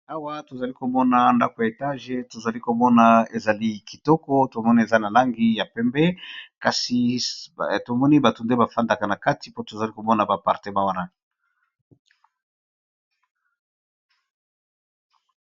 Awa tozali komona ndako ya etage tozali komona ezali kitoko tomoni eza na langi ya pembe kasi tomoni bato nde bafandaka na kati po tozali komona ba appartement wana.